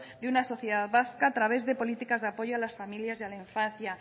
de una sociedad vasca a través de políticas de apoyo a las familias y a la infancia